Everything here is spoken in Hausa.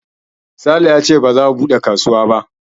Sale yace ba za a buɗe kasuwa ba